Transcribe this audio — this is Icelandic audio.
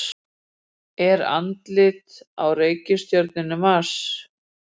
Er andlit á reikistjörnunni Mars?